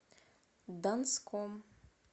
донском